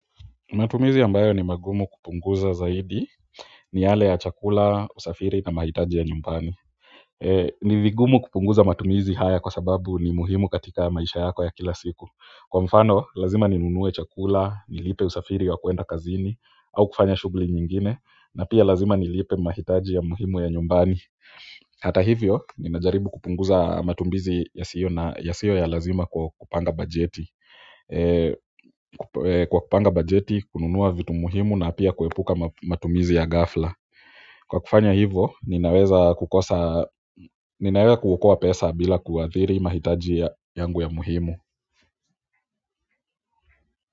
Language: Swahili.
Matumizi ambayo ni magumu kupunguza zaidi ni yale ya chakula, usafiri na mahitaji ya nyumbani. Ni vigumu kupunguza matumizi haya kwa sababu ni muhimu katika ya maisha yako ya kila siku. Kwa mfano, lazima ni nunue chakula, nilipe usafiri wa kwenda kazini, au kufanya shughuli nyingine, na pia lazima nilipe mahitaji ya muhimu ya nyumbani. Hata hivyo, nimejaribu kupunguza matumizi yasiyo ya lazima kwa kupanga bajeti kwa kupanga bajeti, kununua vitu muhimu na pia kuepuka matumizi ya ghafla kwa kufanya hivo, ninaweza kukosa, ninaweza kuokoa pesa bila kuathiri mahitaji yangu ya muhimu.